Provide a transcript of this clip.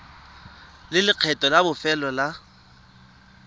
le lekgetho la bofelo la